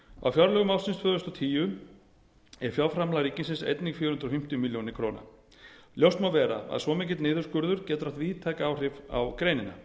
á fjárlögum ársins tvö þúsund og tíu er fjárframlag ríkisins einnig fjögur hundruð fimmtíu mæli krónu ljóst má vera að svo mikill niðurskurður getur haft víðtæk áhrif á